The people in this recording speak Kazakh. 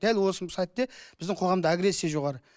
дәл осы сәтте біздің қоғамда агрессия жоғары